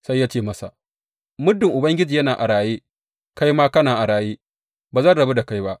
Sai ya ce masa, Muddin Ubangiji yana a raye, kai ma kana a raye, ba zan rabu da kai ba.